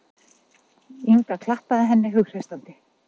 Inga klappaði henni hughreystandi.